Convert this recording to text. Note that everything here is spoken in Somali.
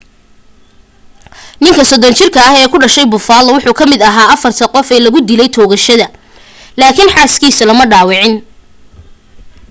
ninka 30 jirka ah ee ku dhashay buffalo wuxuu ka mid aha afarta qof ee lagu dilay toogashada lakin xaas kiisu lama dhawacin